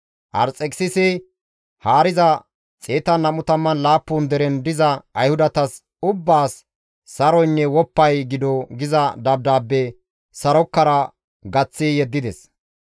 Arxekisisi haariza 127 deren diza Ayhudatas ubbaas saroynne woppay gido giza dabdaabbe sarokara gaththi yeddides.